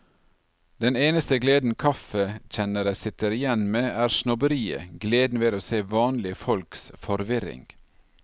Den eneste gleden kaffekjennere sitter igjen med, er snobberiet, gleden ved å se vanlige folks forvirring.